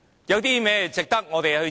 有甚麼值得我們致謝？